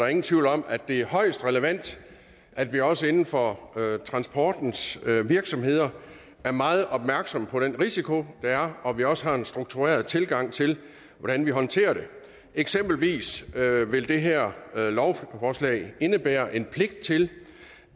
ingen tvivl om at det er højst relevant at vi også inden for transportens virksomheder er meget opmærksomme på den risiko der er og at vi også har en struktureret tilgang til hvordan vi håndterer det eksempelvis vil det her lovforslag indebære en pligt til